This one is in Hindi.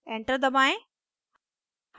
enter दबाएं